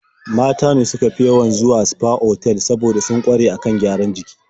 Mata ne suka fi yawan zuwa sfa otal saboda sun ƙware a kan gyaran jiki.